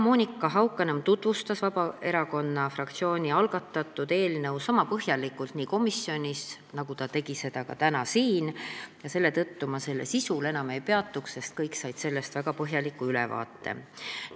Monika Haukanõmm tutvustas Vabaerakonna fraktsiooni algatatud eelnõu komisjonis niisama põhjalikult, nagu ta tegi seda ka täna siin, selle tõttu ma selle sisul enam ei peatu, sest kõik said sellest juba väga põhjaliku ülevaate.